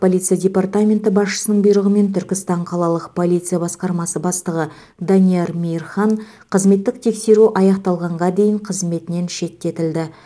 полиция департаменті басшысының бұйрығымен түркістан қалалық полиция басқармасы бастығы данияр мейірхан қызметтік тексеру аяқталғанға дейін қызметінен шеттетілді